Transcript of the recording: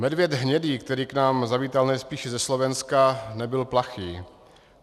Medvěd hnědý, který k nám zavítal nejspíše ze Slovenska, nebyl plachý.